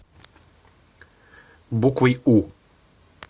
буквой у